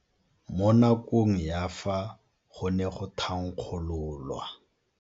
Mo nakong ya fa go ne go thankgololwa.